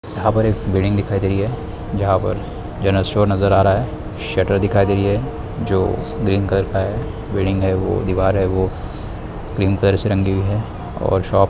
building दिखाई दे रही है जहाँ पर जनरल स्टोर नज़र आ रहा है शटर दिखाई दे रही है जो ग्रीन कलर का है बिल्डिंग है वो दीवार है क्रीम कलर से रंगी हुई है और शॉप में --